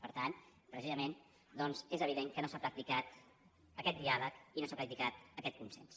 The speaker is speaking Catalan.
per tant precisament doncs és evident que no s’ha practicat aquest diàleg i no s’ha practicat aquest consens